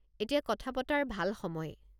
এতিয়া কথা পতাৰ ভাল সময়।